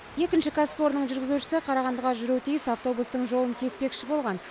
екінші кәсіпорынның жүргізушісі қарағандыға жүруі тиіс автобустың жолын кеспекші болған